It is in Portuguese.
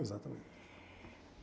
Exatamente.